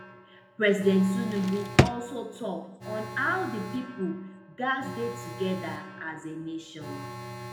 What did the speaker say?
president tinubu also tok on how di pipo gatz dey togeda as a nation